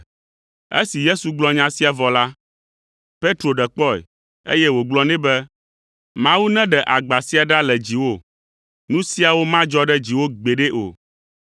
Esi Yesu gblɔ nya sia vɔ la, Petro ɖe kpɔe, eye wògblɔ nɛ be, “Mawu neɖe agba sia ɖa le dziwò; nu siawo madzɔ ɖe dziwò gbeɖe o!”